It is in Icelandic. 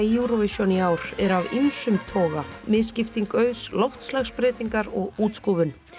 í Eurovision í ár eru af ýmsum toga misskipting auðs loftslagsbreytingar og útskúfun